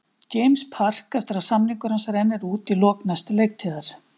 James Park eftir að samningur hans rennur út í lok næstu leiktíðar.